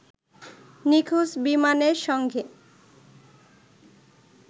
নিখোঁজ বিমানের সঙ্গে